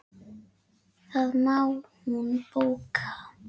Það má hún bóka.